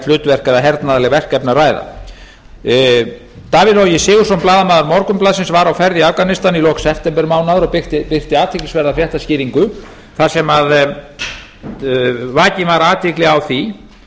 hlutverk eða hernaðarleg verkefni að ræða davíð logi sigurðsson blaðamaður morgunblaðsins var á ferð í afganistan í lok septembermánaðar og birti athyglisverða fréttaskýringu þar sem vakin var athygli á því